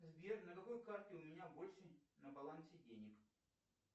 сбер на какой карте у меня больше на балансе денег